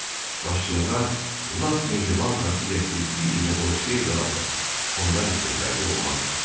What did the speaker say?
Başçılığa lap mehriban xasiyyətli Billini qoşsaydılar da, onlar üçün fərqi olmazdı.